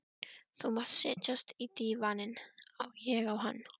Þú mátt setjast á dívaninn, ég á hann.